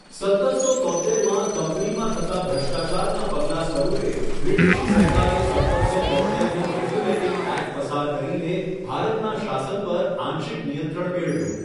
સત્તરસો તોત્તેરમાં, કંપનીમાં થતા ભ્રષ્ટાચારના પગલા સ્વરુપે, બ્રિટિશ સરકારે સત્તરસો તોત્તેરનો રેગ્યુલેટિંગ એક્ટ પસાર કરીને ભારતના શાસન પર આંશિક નિયંત્રણ મેળવ્યું.